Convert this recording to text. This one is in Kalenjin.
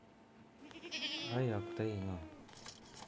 Ayoiktoi ngo?